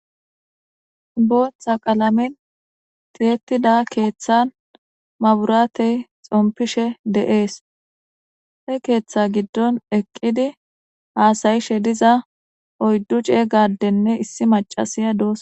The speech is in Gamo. booththa qalamen tiyettida keeththan maburaatey xompishe de'ees he keeththa giddon eqqidi haasa'ishe diza oyddu ceeyga adenne issi macasiya dosona